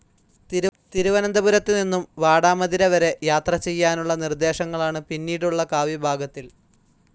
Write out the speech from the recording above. തിരുവനന്തപുരത്തു നിന്നും വാടാമതിരവരെ യാത്ര ചെയ്യാനുള്ള നിർദ്ദേശങ്ങളാണ് പിന്നീടുള്ള കാവ്യഭാഗത്തിൽ.